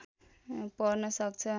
पर्न सक्छ